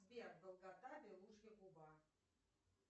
сбер долгота белужья губа